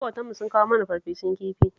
Maƙotanmu sun kawo mana farfesun kifi